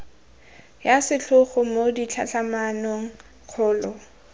ya setlhogo mo ditlhatlhamanong kgolo